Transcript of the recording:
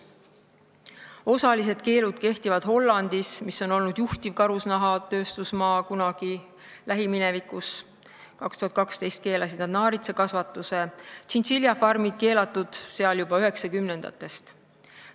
Osalised keelud kehtivad Hollandis, mis lähiminevikus oli juhtiv karusnahatööstusmaa, 2012 keelustasid nad naaritsakasvatuse, tšintšiljafarmid on seal keelustatud juba üheksakümnendatest.